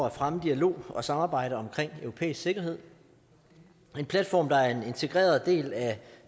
at fremme dialog og samarbejde om europæisk sikkerhed en platform der er en integreret del af